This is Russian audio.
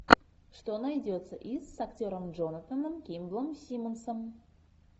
что найдется из с актером джонатаном кимблом симмонсом